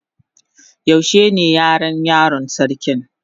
Yaushe ne Yaran yaron sarkin?